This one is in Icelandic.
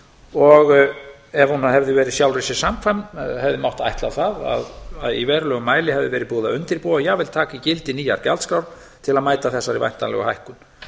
ef hún hefði verið sjálfri sér samkvæm hefði mátt ætla það að í verulegum mæli hefði verið búið að undirbúa og jafnvel taka í gildi nýjar gjaldskrár til að mæta þessari væntanlegu hækkun